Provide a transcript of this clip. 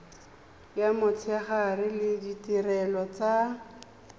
ya motshegare le ditirelo tsa